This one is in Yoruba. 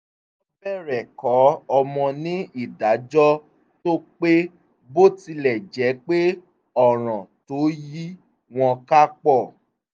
wọ́n bẹ̀rẹ̀ kọ́ ọmọ ní ìdájọ́ tó pé bó tilẹ̀ jẹ́ pé ọ̀ràn tó yí wọn ká pọ̀